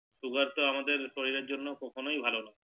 Sugar তো আমাদের শরীরের জন্য কখনো ভালো নয়